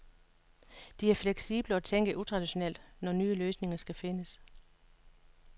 De er fleksible og tænker utraditionelt, når nye løsninger skal findes.